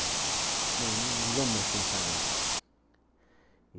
Não, não vamos mais pensar nisso.